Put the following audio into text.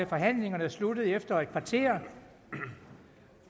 forhandlingerne sluttede efter et kvarter